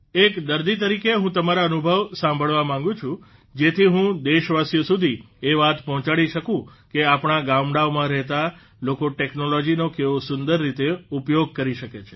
એક દર્દી તરીકે હું તમારા અનુભવ સાંભળવા માંગું છું જેથી હું દેશવાસીઓ સુધી એ વાત પહોંચાડી શકું કે આપણા ગામડાઓમાં રહેતા લોકો ટેકનોલોજીનો કેવો સુંદર રીતે ઉપયોગ કરી શકે છે